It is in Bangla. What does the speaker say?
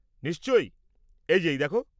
নিশ্চয়ই, এই যে এই দেখো।